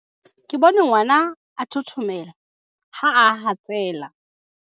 ke bone ngwana a thothomela ha a hatsela